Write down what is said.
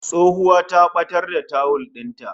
Tsohuwa ta batar da tawul din ta